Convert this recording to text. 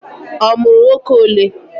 O mụrụ ụmụnwoke ole?